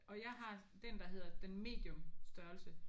Og jeg har den der hedder den medium størrelse